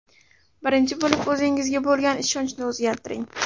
Birinchi bo‘lib o‘zingizga bo‘lgan ishonchni o‘zgartiring.